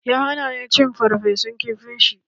Ya hana ni cin ferfesun kifin shi.